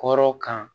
Kɔrɔ kan